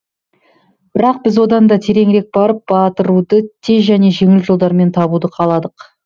бірақ біз одан да тереңірек барып батыруды тез және жеңіл жолдармен табуды қаладық